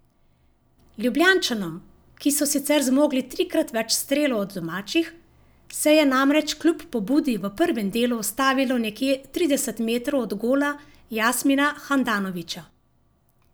Ljubljančanom, ki so sicer zmogli trikrat več strelov od domačih, se je namreč kljub pobudi v prvem delu ustavilo nekje trideset metrov od gola Jasmina Handanovića.